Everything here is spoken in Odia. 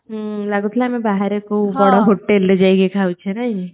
ହୁଁ ଲାଗୁଥିଲା ଆମେ ବାହାରେ କୋଉ ବଡ଼ hotel ରେ ଯାଇକି ଖାଉଚେ ନାହିଁ କି